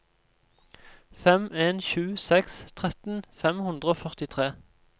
fem en sju seks tretten fem hundre og førtitre